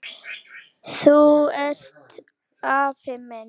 Þú ert afi minn!